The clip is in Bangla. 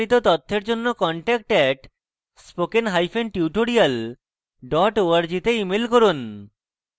বিস্তারিত তথ্যের জন্য contact @spokentutorial org তে ইমেল করুন